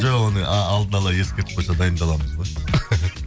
жоқ оны алдына ала ескертіп қойса дайындаламыз ғой